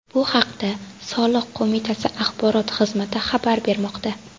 Bu haqda soliq qo‘mitasi axborot xizmati xabar bermoqda.